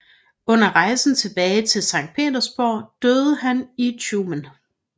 Under rejsen tilbage til Sankt Petersborg døde han i Tjumen